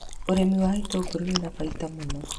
Ũrĩmi wa itũngũrũ wĩna baita mũno.